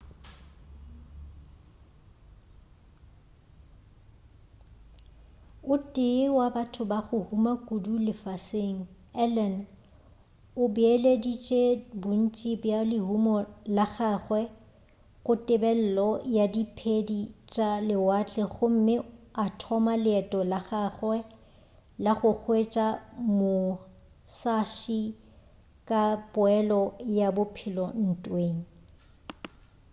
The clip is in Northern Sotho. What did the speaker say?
o tee wa batho ba go huma kudu lefaseng allen o beeleditše bontši bja lehumo la gagwe go tebelelo ya diphedi tša lewatle gomme a thoma leeto la gagwe la go hwetša musashi ka poelo ya bophelo ntweng